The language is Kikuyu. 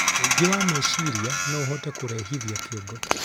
ũingĩ wa mecirĩa nouhote kũrehithia kĩongo